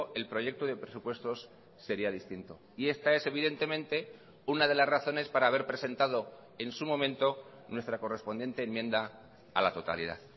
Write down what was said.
el proyecto de presupuestos sería distinto y esta es evidentemente una de las razones para haber presentado en su momento nuestra correspondiente enmienda a la totalidad